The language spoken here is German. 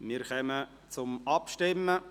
Wir kommen zur Abstimmung.